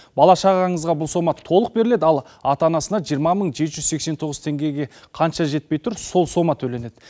бала шағаңызға бұл сома толық беріледі ал ата анасына жиырма мың жеті жүз сексен тоғыз теңгеге қанша жетпей тұр сол сома төленеді